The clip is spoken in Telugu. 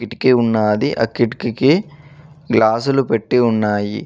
కిటికీ ఉన్నాది ఆ కిటికీకి గ్లాసు లు పెట్టి ఉన్నాయి.